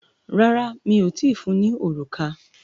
Rárá, mi o tíì fun ní òrùka.